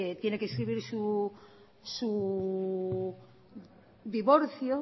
tiene que inscribir su divorcio